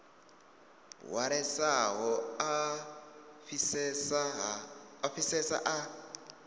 hwalesaho a a fhisesa a